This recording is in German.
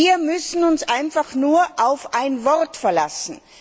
Wir müssen uns einfach nur auf ein Wort verlassen!